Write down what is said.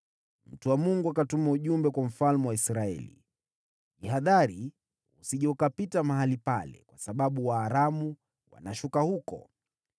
Mtu wa Mungu akatuma ujumbe kwa mfalme wa Israeli: “Jihadhari usije ukapita mahali pale, kwa sababu Waaramu wanashuka huko.”